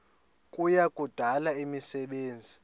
kuya kudala imisebenzi